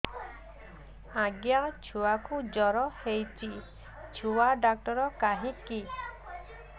ଆଜ୍ଞା ଛୁଆକୁ ଜର ହେଇଚି ଛୁଆ ଡାକ୍ତର କାହିଁ କି